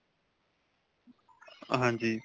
ਹਾਂਜੀ.